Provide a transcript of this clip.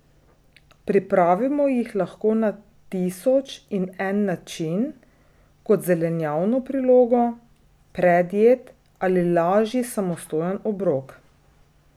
Pripravimo jih lahko na tisoč in en način, kot zelenjavno prilogo, predjed ali lažji samostojen obrok.